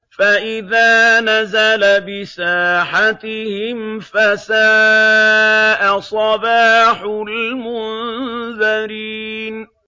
فَإِذَا نَزَلَ بِسَاحَتِهِمْ فَسَاءَ صَبَاحُ الْمُنذَرِينَ